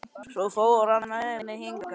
Svo fór hann með mig hingað.